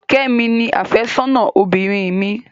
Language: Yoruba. Kẹ́mi ni àfẹ́sọ́nà obìnrin mi.